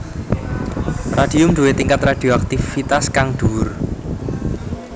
Radium duwé tingkat radioaktivitas kang dhuwur